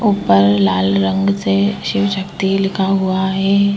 ऊपर लाल रंग से शिवशक्ति लिखा हुआ है।